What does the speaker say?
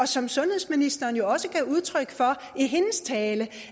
som sundhedsministeren jo også gav udtryk for i sin tale